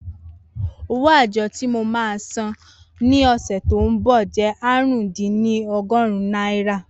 Owó àjọ tí mo máa san ní ọ̀sẹ̀ tí ó ń bọ̀ jẹ́ ààrùndínní ọgọ́rin náírà